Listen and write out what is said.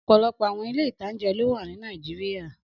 Ọ̀pọ̀lọpọ̀ àwọn ilé-ìtánjẹ ló wà ní Nàìjíríyà